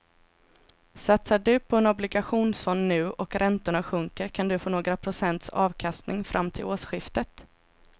Satsar du på en obligationsfond nu och räntorna sjunker kan du få några procents avkastning fram till årsskiftet.